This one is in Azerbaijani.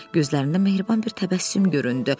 Gözlərində mehriban bir təbəssüm göründü.